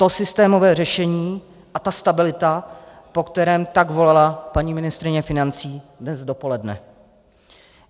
To systémové řešení a ta stabilita, po kterém tak volala paní ministryně financí dnes dopoledne.